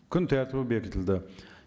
күн тәртібі бекітілді